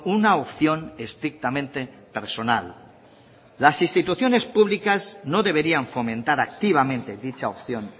una opción estrictamente personal las instituciones públicas no deberían fomentar activamente dicha opción